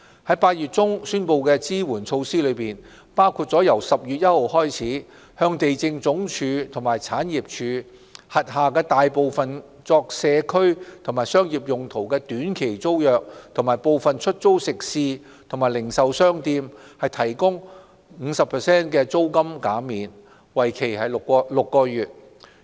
在8月中宣布的支援措施，包括由10月1日起向地政總署及政府產業署轄下大部分作社區及商業用途的短期租約和部分出租食肆及零售商店提供 50% 的租金減免，為期6個月。